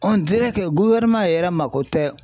yɛrɛ mako tɛ